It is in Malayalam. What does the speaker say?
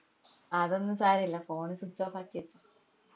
അതൊന്നു സാരോല്ല phone switch off ആക്കിയെ